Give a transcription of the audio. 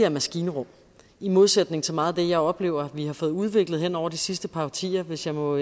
om maskinrum i modsætning til meget af det jeg oplever at vi har fået udviklet hen over de sidste par årtier hvis jeg må